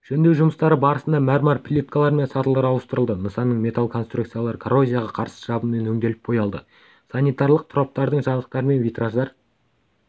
жөндеу жұмыстары барысында мәрмәр плиткалар мен сатылар ауыстырылды нысанның металл конструкциялары коррозияға қарсы жабынмен өңделіп боялды санитарлық тораптардың жабдықтары мен витраждар